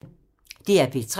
DR P3